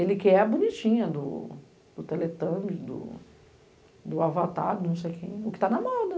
Ele quer a bonitinha do teletâmbio, do avatar, não sei quem, o que tá na moda.